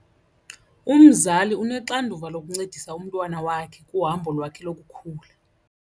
Umzali unoxanduva lokuncedisa umntwana wakhe kuhambo lwakhe lokukhula.